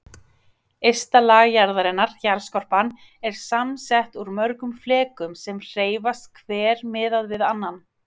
Ysta lag jarðarinnar, jarðskorpan, er samsett úr mörgum flekum sem hreyfast hver miðað við annan.